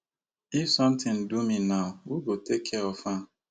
if sometin do me now who go take care of am